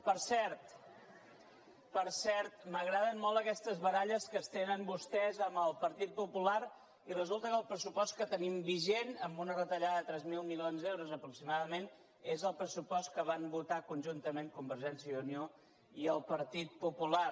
per cert per cert m’agraden molt aquestes baralles que es tenen vostès amb el partit popular i resulta que el pressupost que tenim vigent amb una retallada de tres mil milions d’euros aproximadament és el pressupost que van votar conjuntament convergència i unió i el partit popular